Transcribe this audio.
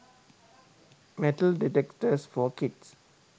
metal detectors for kids